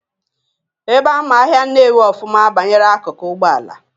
Ebe ama ahịa Nnewi ọfụma banyere akụkụ Ụgbọala,